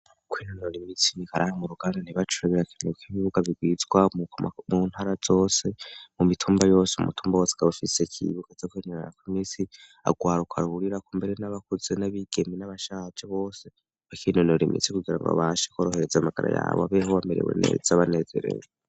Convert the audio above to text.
Kwinonora imitsi nikarahara mu ruganda ntibacure birakenewe kwibibuga bigwizwa mu ntara zose mu mitumba yose umutumba wose ukabufise ibuga ca kwinononerako imitsi urwaruka ruhurirako mbere n'abakuzi n'abigeme n'abashaje bose bakinonora imitsi kugira ngo babashe korohereza amagara yabo babeho bamerewe neza banezerewe.